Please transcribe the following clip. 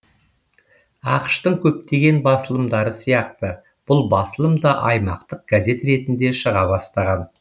ақш тың көптеген басылымдары сияқты бұл басылым да аймақтық газет ретінде шыға бастаған